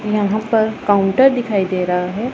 यहां पर काउंटर दिखाई दे रहा हैं।